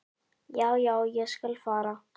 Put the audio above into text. """Já, já, ég skal fara."""